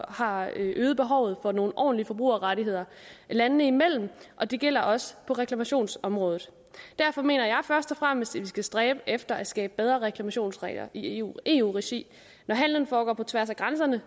har øget behovet for nogle ordentlige forbrugerrettigheder landene imellem og det gælder også på reklamationsområdet derfor mener jeg først og fremmest at vi skal stræbe efter at skabe bedre reklamationsregler i eu regi når handelen foregår på tværs af grænserne